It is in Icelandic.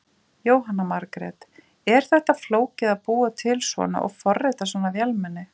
Jóhanna Margrét: Er þetta flókið að búa til svona og forrita svona vélmenni?